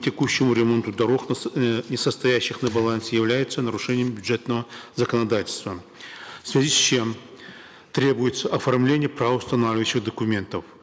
текущему ремонту не состоящих на балансе являются нарушением бюджетного законодательства в связи с чем требуется оформление правоустанавливающих документов